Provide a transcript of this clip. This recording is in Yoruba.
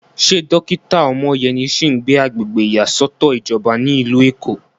Ṣé dókítà Omoyeni sì ń gbé agbègbè ìyàsọ́tọ̀ ìjọba ní ìlú Èkó?